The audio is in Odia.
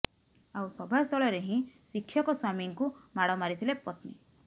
ଆଉ ସଭାସ୍ଥଳରେ ହିଁ ଶିକ୍ଷକ ସ୍ୱାମୀଙ୍କୁ ମାଡ଼ ମାରିଥିଲେ ପତ୍ନୀ